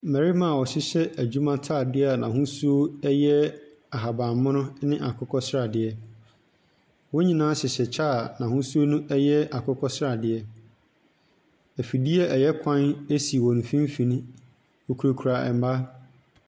Mbɛrema wɔhyehyɛ edwuma taadeɛ a n'ahosuo ɛyɛ ahabanmono ɛne akokɔsradeɛ. Wonyinaa hyehyɛ kyɛɛ a n'ahosuo no ɛyɛ akokɔsradeɛ, efidie ɛyɛ kwan esi wɔn fimfini. Wokurakura mbaaa.